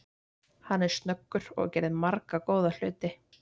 Hann er snöggur og gerði marga góða hluti.